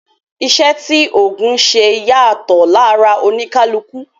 Iṣẹ́ tí ògùn ń ṣe yàtọ̀ lára oníkálukú